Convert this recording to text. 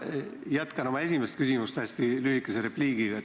Ma jätkan lühikese repliigiga oma esimese küsimuse juurde.